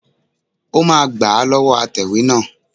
Ó máa gbà á lọ́wọ́ atẹ̀wé náà